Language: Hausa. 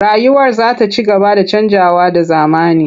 Rayuwar za ta ci gaba da canjawa da zamani.